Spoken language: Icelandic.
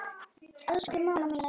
Elsku mamma mín er dáin.